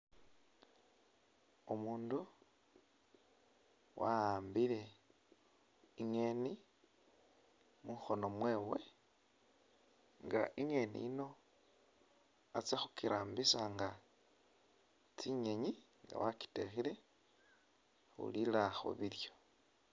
Umundu waambile ingeni mukhono mwewe nga ingeni iyino atsa khukirambisa nga tsinyenyi nga wakitekhele khulila khubilyo.